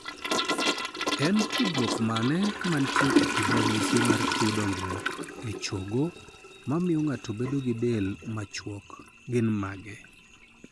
En tudruok mane mantie e kind ranyisi mar tuo dongruok e chogo mamio ng'ato bedo gi del machuok gin mage?